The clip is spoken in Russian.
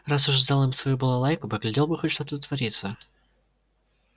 раз уж сдал им свою балалайку поглядел бы хоть что тут творится